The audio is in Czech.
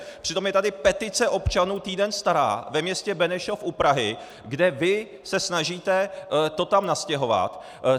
Přitom je tady petice občanů týden stará ve městě Benešov u Prahy, kde vy se snažíte to tam nastěhovat.